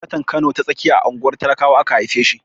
Sanatan Kano ta tsakiya a unguwar talakawa aka haife shi.